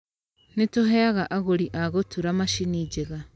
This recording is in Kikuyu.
Nĩ tũheaga agũri a gũtũra macini njega.